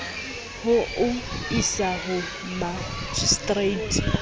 ho o isa ho makgistrata